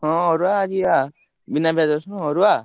ହଁ ଅରୁଆ ଆଜି ବା ବିନା ପିଆଜ ରସୁଣ ଅରୁଆ।